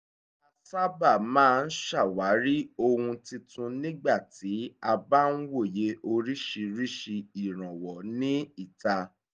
a sábà máa ń ṣàwárí ohun titun nígbà tí a bá ń wòye orísìírísìí ìrànwọ́ ní ìta